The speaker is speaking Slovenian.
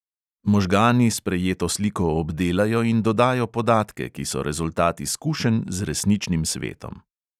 Možgani sprejeto sliko obdelajo in dodajo podatke, ki so rezultat izkušenj z resničnim svetom.